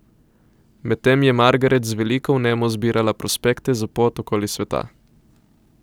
Medtem je Margaret z veliko vnemo zbirala prospekte za pot okoli sveta.